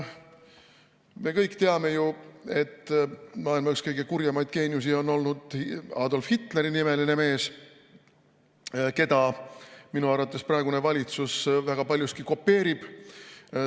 Me kõik teame ju, et maailma üks kõige kurjemaid geeniusi on olnud Adolf Hitleri nimeline mees, keda minu arvates praegune valitsus väga paljuski kopeerib.